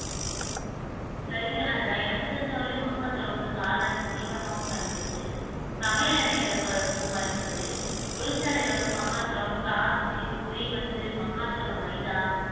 சரிங்க ராஜா எனக்கு தெரிஞ்ச வரையிலும் மக்காச்சோளம் வந்து கால்நடைக்கு தீவனமாகவும் பயன்படுது சமையல் எண்ணெய் எடுப்பதற்கும் பயன்படுது தொழிற்சாலையில வந்து மக்காச்சோளம் starch உ மக்காச்சோளம் மைதா